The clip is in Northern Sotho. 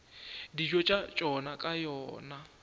dijo tša tšona ka yona